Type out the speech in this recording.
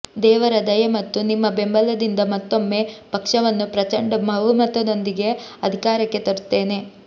ದೇವರ ದಯೆ ಮತ್ತು ನಿಮ್ಮ ಬೆಂಬಲದಿಂದ ಮತ್ತೊಮ್ಮೆ ಪಕ್ಷವನ್ನು ಪ್ರಚಂಡ ಬಹುಮತದೊಂದಿಗೆ ಅಧಿಕಾರಕ್ಕೆ ತರುತ್ತೇನೆ